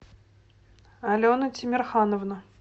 алена тимерхановна